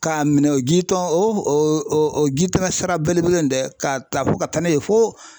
K'a minɛ o ji tɔn o o o jitɛmɛ sira belebele in dɛ k'a ta fo ka taa n'a ye fo